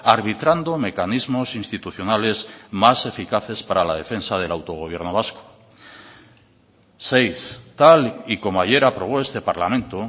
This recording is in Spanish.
arbitrando mecanismos institucionales más eficaces para la defensa del autogobierno vasco seis tal y como ayer aprobó este parlamento